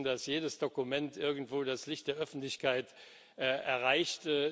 Wir wissen, dass jedes Dokument irgendwo das Licht der Öffentlichkeit erreicht